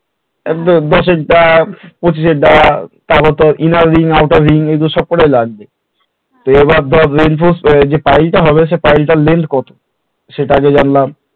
দশ এর পঁচিশের তারপরে তোর inner ring outer ring এগুলো সব কটাই লাগবে তো এবার ধর যে pile টা হবে pile টার length কত সেটা আগে জানলা